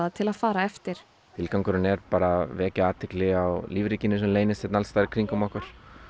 til að fara eftir tilgangurinn er bara að vekja athygli á lífríkinu sem leynist hérna alls staðar í kringum okkur